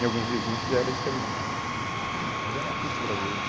Tem alguns vizinhos que já era diferente, mas era uma cultura deles.